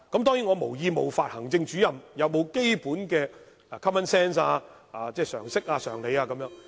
當然，我無意冒犯行政主任，並非質疑他們有沒有基本的 common sense， 即常識、常理。